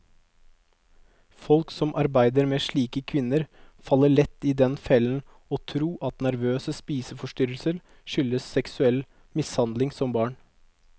Folk som arbeider med slike kvinner, faller lett i den fellen å tro at nervøse spiseforstyrrelser skyldes seksuell mishandling som barn.